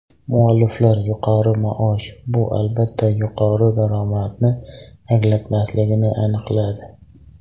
Mualliflar yuqori maosh bu albatta yuqori daromadni anglatmasligini aniqladi.